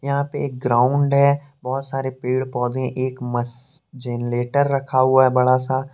यहां पे एक ग्राउंड है बहुत सारे पेड़ पौधे एक मस्त जनरेटर रखा हुआ है बड़ा सा।